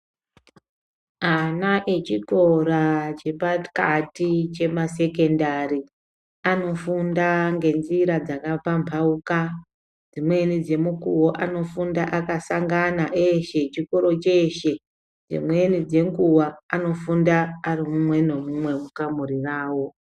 Ana echikora chepakati chemasekendari anofunda ngenzira dzakapambauka dzimweni dzemukuwo anofunda akasangana eshe, chikoro cheshe, dzimweni dzenguwa anofunda ari mumwe nemumwe mukamuri rawo.